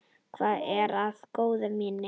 Hvað er það, góða mín?